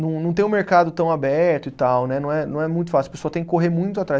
Não não tem um mercado tão aberto e tal né, não é não é muito fácil, a pessoa tem que correr muito atrás.